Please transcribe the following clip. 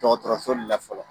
Dɔgɔtɔrɔso de la fɔlɔ